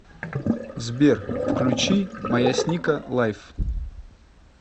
сбер включи маясника лайв